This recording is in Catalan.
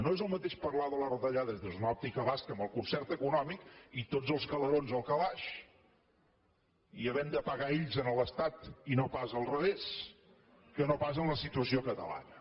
no és el mateix parlar de les retallades des d’una òptica basca amb el concert econòmic i tots els calerons al calaix i havent de pagar ells a l’estat i no pas al revés que no pas en la situació catalana